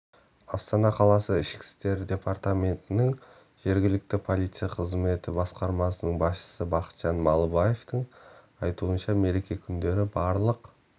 астана қаласы ішкі істер департаментінің жергілікті полиция қызметі басқармасының басшысы бақытжан малыбаевтың айтуынша мереке күндері барлық